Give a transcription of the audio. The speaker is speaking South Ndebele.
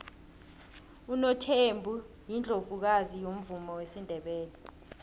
unothembi yiundlovukazi yomvumo wesindebele